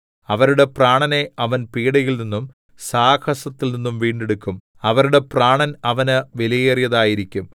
അവരുടെ പ്രാണനെ അവൻ പീഡയിൽ നിന്നും സാഹസത്തിൽനിന്നും വീണ്ടെടുക്കും അവരുടെ പ്രാണന്‍ അവന് വിലയേറിയതായിരിക്കും